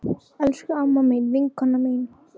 Elsku amma mín, vinkona mín.